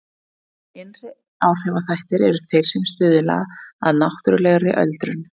Innri áhrifaþættir eru þeir sem stuðla að náttúrulegri öldrun.